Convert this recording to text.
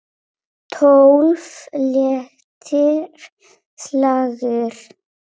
Tólf léttir slagir.